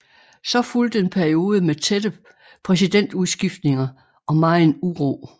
Så fulgte en periode med tætte præsidentudskiftninger og megen uro